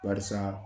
Barisa